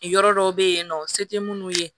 Yɔrɔ dɔw bɛ yen nɔ se tɛ minnu ye